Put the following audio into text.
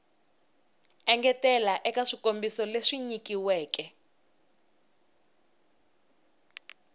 engetela eka swikombiso leswi nyilaweke